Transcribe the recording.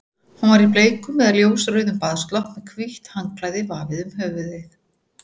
Hún var í bleikum eða ljósrauðum baðslopp með hvítt handklæði vafið um höfuðið.